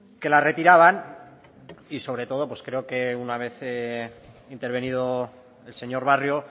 que la retiraban y sobre todo pues creo que una vez intervenido el señor barrio